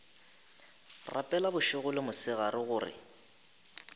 rapela bošego le mosegare gore